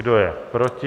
Kdo je proti?